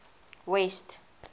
west